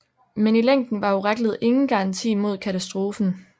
Men i længden var oraklet ingen garanti mod katastrofen